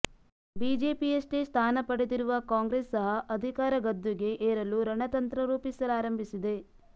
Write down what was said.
ಬಿಜೆಪಿಯಷ್ಟೇ ಸ್ಥಾನ ಪಡೆದಿರುವ ಕಾಂಗ್ರೆಸ್ ಸಹ ಅಧಿಕಾರ ಗದ್ದುಗೆ ಏರಲು ರಣತಂತ್ರ ರೂಪಿಸಲಾರಂಭಿಸಿದೆ